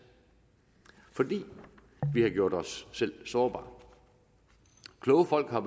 fordi vi har gjort os selv sårbare kloge folk har